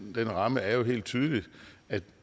ramme er jo helt tydeligt at